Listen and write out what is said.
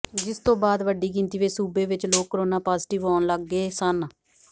ਜਿਸ ਤੋਂ ਬਾਅਦ ਵੱਡੀ ਗਿਣਤੀ ਵਿਚ ਸੂਬੇ ਵਿਚ ਲੋਕ ਕਰੋਨਾ ਪੌਜਟਿਵ ਆਉਂਣ ਲੱਗੇ ਸਨ